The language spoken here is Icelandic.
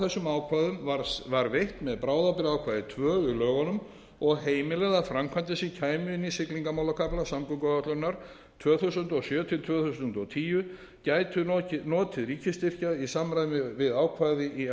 þessum ákvæðum var veitt með bráðabirgðaákvæði tvö í lögunum og heimilað að framkvæmdir sem kæmu inn í siglingamálakafla samgönguáætlunar tvö þúsund og sjö til tvö þúsund og tíu gætu notið ríkisstyrkja í samræmi við ákvæði í